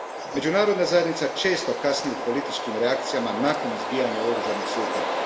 Međunarodna zajednica često kasni u političkim reakcijama nakon izbijanja oružanih sukoba.